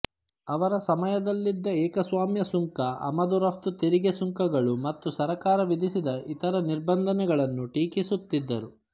ಅವರ ಸಮಯದಲ್ಲಿದ್ದ ಏಕಸ್ವಾಮ್ಯ ಸುಂಕ ಅಮದು ರಪ್ತು ತೆರಿಗೆಸುಂಕಗಳು ಮತ್ತು ಸರಕಾರ ವಿಧಿಸಿದ ಇತರ ನಿಬಂಧನೆಗಳನ್ನು ಟೀಕಿಸುತ್ತಿದ್ದರು